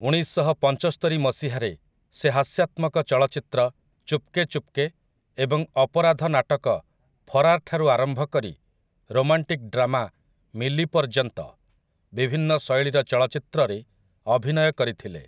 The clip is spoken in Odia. ଉଣେଇଶଶହପଞ୍ଚସ୍ତରୀ ମସିହାରେ ସେ ହାସ୍ୟାତ୍ମକ ଚଳଚ୍ଚିତ୍ର 'ଚୁପ୍‌କେ ଚୁପ୍‌କେ' ଏବଂ ଅପରାଧ ନାଟକ 'ଫରାର୍' ଠାରୁ ଆରମ୍ଭ କରି ରୋମାଣ୍ଟିକ୍ ଡ୍ରାମା 'ମିଲି' ପର୍ଯ୍ୟନ୍ତ ବିଭିନ୍ନ ଶୈଳୀର ଚଳଚ୍ଚିତ୍ରରେ ଅଭିନୟ କରିଥିଲେ ।